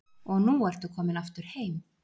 Og nú ertu komin aftur heim?